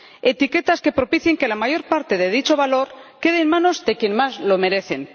etiquetas que propicien que la mayor parte de dicho valor quede en manos de quienes más lo merecen.